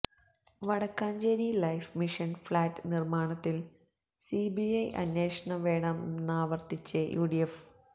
Vadakkanchery life mission flat നിർമാണത്തിൽ CBI അന്വേഷണം വേണമെന്നാവർത്തിച്ച് യുഡിഎഫ്